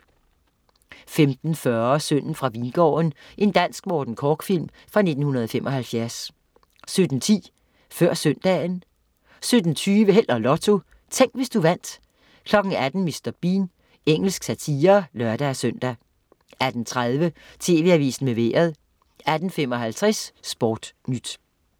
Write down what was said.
15.40 Sønnen fra Vingården. Dansk Morten Korch-film fra 1975 17.10 Før søndagen 17.20 Held og Lotto. Tænk, hvis du vandt 18.00 Mr. Bean. Engelsk satire (lør-søn) 18.30 TV Avisen med Vejret 18.55 SportNyt